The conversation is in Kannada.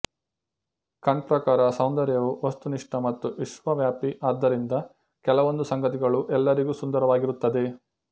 ಕಂಟ್ ಪ್ರಕಾರ ಸೌಂದರ್ಯವು ವಸ್ತುನಿಷ್ಠ ಮತ್ತು ವಿಶ್ವವ್ಯಾಪಿ ಆದ್ದರಿಂದ ಕೆಲವೊಂದು ಸಂಗತಿಗಳು ಎಲ್ಲರಿಗೂ ಸುಂದರವಾಗಿರುತ್ತದೆ